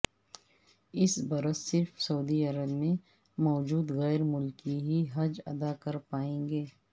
اس برس صرف سعودی عرب میں موجود غیر ملکی ہی حج ادا کر پائیں گے